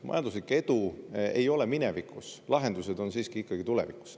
Majanduslik edu ei ole minevikus, lahendused on siiski tulevikus.